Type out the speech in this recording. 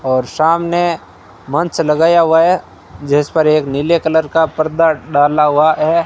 और सामने मंच लगाया हुआ है जिसपर एक नीले कलर का पर्दा डाला हुआ है।